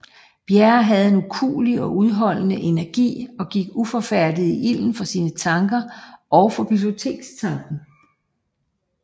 Bjerre havde en ukuelig og udholdende energi og gik uforfærdet i ilden for sine tanker og for bibliotekssagen